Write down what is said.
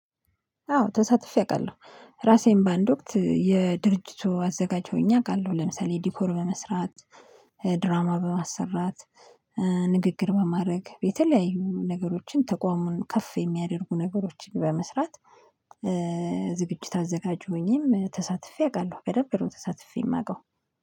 አዎ ተሳትፌ አውቃለሁ ራሴን በአንድ ወቅት የድርጅቱ አዘጋጅ ሆኜ አውቃለሁ። ለምሳሌ ዲኮር በመስራት ድራማ በማሰራት ንግግር በማድረግ የተለያዩ ነገሮችን ተቋሙን ከፍ የሚያደርጉ ነገሮችን በመስራት። ዝግጅት አዘጋጅ ሆኜም ተሳትፌ አውቃለሁ በደንብ ተሳትፌ የማውቀው